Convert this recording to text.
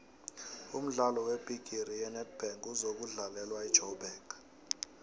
umdlalo webhigiri yenedbank uzokudlalelwa ejoburg